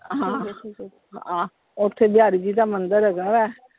ਹਾਂ ਆਹ ਓਥੇ ਬਿਹਾਰੀ ਜੀ ਦਾ ਮੰਦਿਰ ਹੈਗਾ ਆ।